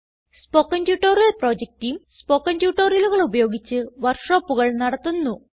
spoken tutorial project team spoken ട്യൂട്ടോറിയലുകൾ ഉപയോഗിച്ച് വർക്ക് ഷോപ്പുകൾ നടത്തുന്നു